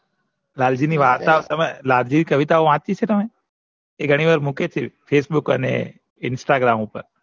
લાલજી ની વાર્તા લાલજી ની કવિતાઓ વાચી છે તમે એ ગણી વાર મુકે જ છે facebook અને instragam ઉપર